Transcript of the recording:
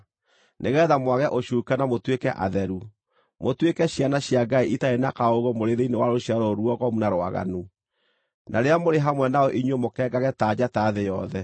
nĩgeetha mwage ũcuuke na mũtuĩke atheru, mũtuĩke ciana cia Ngai itarĩ na kaũũgũ mũrĩ thĩinĩ wa rũciaro rũrũ ruogomu na rwaganu, na rĩrĩa mũrĩ hamwe nao inyuĩ mũkengage ta njata thĩ yothe,